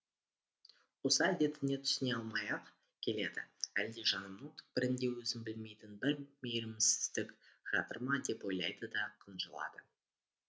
осы әдетіне түсіне алмай ақ келеді әлде жанымның түкпірінде өзім білмейтін бір мейірімсіздік жатыр ма деп ойлайды да қынжылады